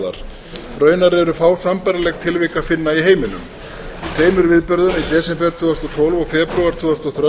varðar raunar er fá sambærileg tilvik að finna í heiminum í tveimur viðburðum í desember tvö þúsund og tólf og febrúar tvö þúsund og